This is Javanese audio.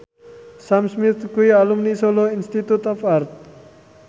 Sam Smith kuwi alumni Solo Institute of Art